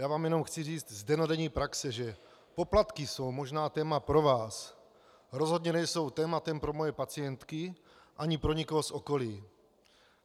Já vám jenom chci říct z dennodenní praxe, že poplatky jsou možná téma pro vás, rozhodně nejsou tématem pro moje pacientky ani pro nikoho z okolí.